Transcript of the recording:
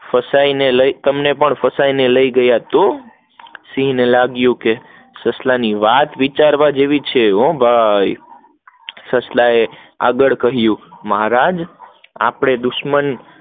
તમને પણ ફસાયી ને લઇ ગયા તો સિંહ ને લાગિયું સસલા ને વાત વિસાગરવા જેવી છે ભાઈ સસલા એ આગળ કહીંયુ, આપડે દુશ્મન